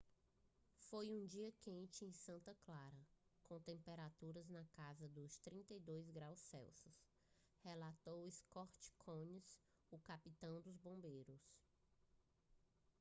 "foi um dia quente em santa clara com temperaturas na casa dos 32 °c relatou scott kouns o capitão dos bombeiros